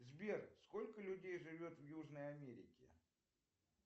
сбер сколько людей живет в южной америке